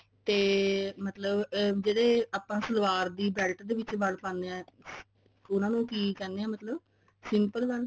ਤੇ ਮਤਲਬ ਜਿਹੜੇ ਆਪਾਂ ਸਲਵਾਰ ਦੀ belt ਦੇ ਪਿੱਛੇ ਬਲ ਪਾਂਦੇ ਹਾਂ ਉਹਨਾਂ ਨੂੰ ਕਿ ਕਹਿੰਦੇ ਐ ਮਤਲਬ simple ਬਲ